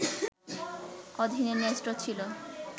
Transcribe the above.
অধীনে ন্যস্ত ছিল